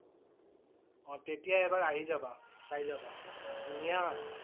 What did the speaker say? অ' তেতিয়া এবাৰ আহি যাবা। চাই যাবা। ধুনীয়া।